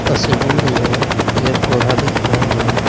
तस्वीर में पेड़ पौधा दिख रहे हैं।